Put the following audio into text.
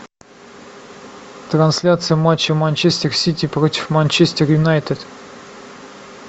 трансляция матча манчестер сити против манчестер юнайтед